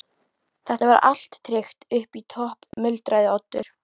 Þetta var allt tryggt upp í topp- muldraði Oddur.